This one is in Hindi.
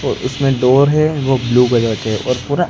ओ उसमें डोर है वो ब्लू कलर के हैं और पूरा--